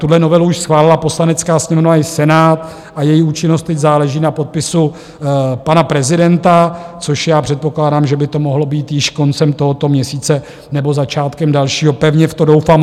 Tuhle novelu už schválila Poslanecká sněmovna i Senát a její účinnost teď záleží na podpisu pana prezidenta, což já předpokládám, že by to mohlo být již koncem tohoto měsíce nebo začátkem dalšího, pevně v to doufám.